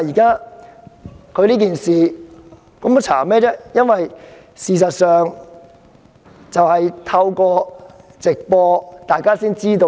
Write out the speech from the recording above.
他當時的行為，大家透過直播可以知悉。